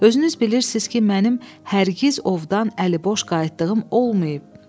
Özünüz bilirsiniz ki, mənim hərgiz ovdan əliboş qayıtdığım olmayıb.